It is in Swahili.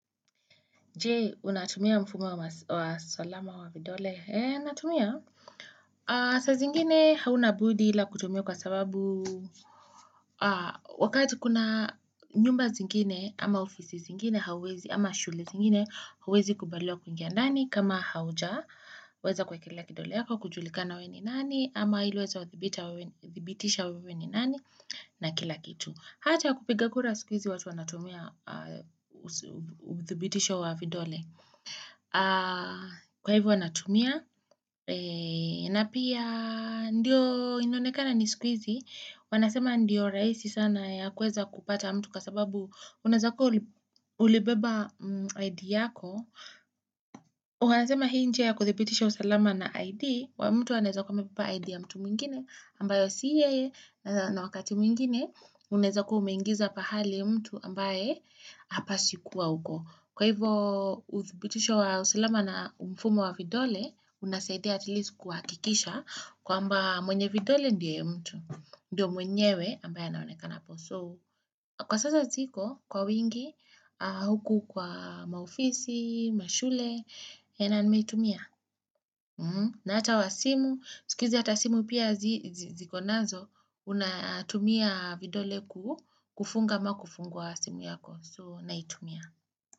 Je, unatumia mfumo wa salama wa vidole? He, natumia. Saa zingine hauna budi ila kutumia kwa sababu wakati kuna nyumba zingine ama ofisi zingine hauwezi ama shule zingine hauwezi kubaliwa kuingia ndani kama haujaweza kuekelea kidole yako kujulikana wewe ni nani ama ili waweze wathibitishe wewe ni nani na kila kitu. Hata kupiga kura siku hizi watu wanatumia udhibitisho wa vidole. Kwa hivyo wanatumia na pia Ndiyo inaonekana ni siku hizi Wanasema ndiyo rahisi sana ya kuweza kupata mtu kwa sababu Unaweza kuwa ulibeba ID yako Wanasema hii njia ya kudhibitisha usalama na ID wa mtu anaezakua amebeba ID ya mtu mwingine ambayo si yeye na wakati mwingine Unaeza kuwa umengiza pahali mtu ambaye hapaswi kuwa huko Kwa hivyo udhibitisho wa usalama na mfumo wa vidole unasaidia atleast kuhakikisha kwamba mwenye vidole ndio mtu ndio mwenyewe ambaye anaonekana hapo so kwa sasa ziko kwa wingi huku kwa maofisi, mashule na nimeitumia na hata wa simu siku hizi hata simu pia zikonazo unatumia vidole kufunga ama kufungua simu yako so naitumia.